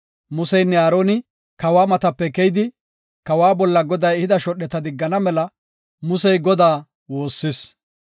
Museynne Aaroni kawa matape keyidi, kawa bolla Goday ehida shodheta diggana mela Musey Godaa woossis.